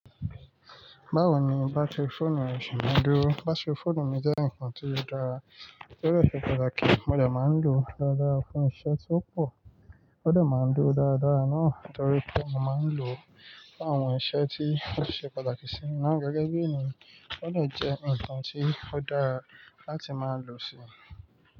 Báwo ni bátìrí fọ́ọ̀nù rẹ ṣe máa dúró? Bátìrí fọ́ọ̀nù mi jẹ́ nǹkan tí ó dára, torí ó ṣe pàtàkì. Mo de máa ń lò ó dáadáa fún iṣẹ́ tí ó pò. Ó de máa ń dúró dáadáa náà torí pé mo máa ń lò ó fún àwọn iṣẹ́ tí o ṣe pàtàkì sí mi náà. Gẹ́gẹ́ bí ènìyàn, ó de jẹ́ nǹkan tí ó dára láti máa lò sí.